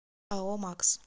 ао макс